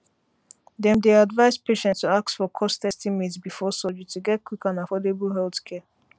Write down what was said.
dem dey advise patients to ask for cost estimate before surgery to get quick and affordable healthcare